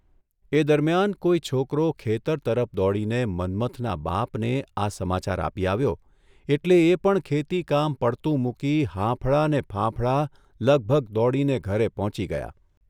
એ દરમિયાન કોઇ છોકરો ખેતર તરફ દોડીને મન્મથના બાપને આ સમાચાર આપી આવ્યો એટલે એ પણ ખેતીકામ પડતું મૂકી હાંફળાને ફાંફળા લગભગ દોડીને ઘરે પહોંચી ગયા.